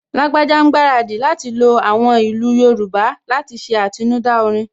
Lágbájá ń gbaradì lo àwọn ìlú Yorùbá láti ṣe àtinúdá orin